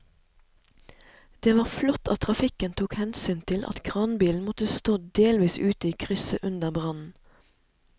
Det var flott at trafikken tok hensyn til at kranbilen måtte stå delvis ute i krysset under brannen.